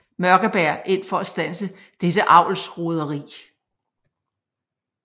Mørkeberg ind for at standse dette avlsroderi